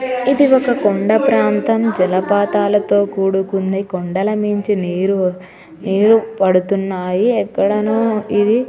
ఇది ఒక్క కొండ ప్రాంతం జలపాతాళ తో కూడుకునది కొండల నించి నీరు పడుతునాయి ఎ క్కడనే ఇది --.